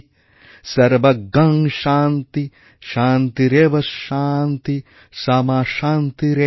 সর্বং শান্তি শান্তিরেব শান্তি সামা শান্তিরেধি